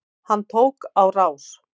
Hann tók á rás.